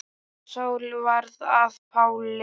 Og Sál varð að Páli.